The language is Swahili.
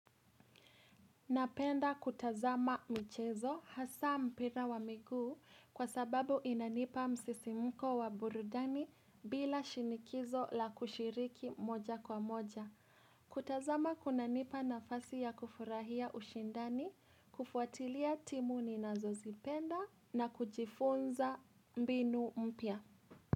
Napenda kutazama mchezo hasa mpira wa miguu kwa sababu inanipa msisimuko wa burudani bila shinikizo la kushiriki moja kwa moja. Kutazama kunanipa nafasi ya kufurahia ushindani, kufuatilia timu ninazozipenda na kujifunza mbinu mpya.